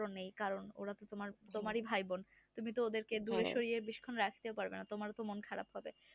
নেই কারণ ওরা তো তোমার ই ভাই বোন রাখতেও পারবেন তোমার তো মন খারাপ করবে